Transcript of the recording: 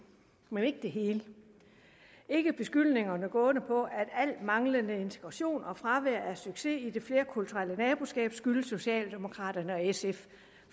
men ikke det hele ikke beskyldningerne gående på at al manglende integration og fravær af succes i det flerkulturelle naboskab skyldes socialdemokraterne og sf